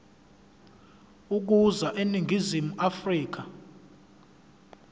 ukuza eningizimu afrika